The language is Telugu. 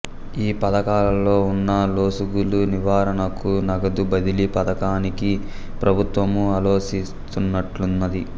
ఈ పథకాలలో వున్న లొసుగులు నివారణకు నగదు బదిలీ పధకానికి ప్రభుత్వము ఆలోసిస్తున్నట్లున్నది